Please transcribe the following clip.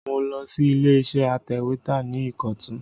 Mo lọ sí ilé iṣẹ́ atẹ̀wẹ́tà ní Ìkọ̀tún